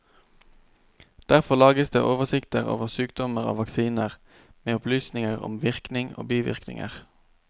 Derfor lages det oversikter over sykdommer og vaksiner, med opplysninger om virkning og bivirkninger.